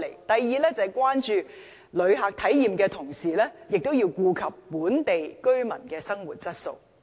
第二，就是關注旅客體驗的同時亦要顧及本地居民的生活質素。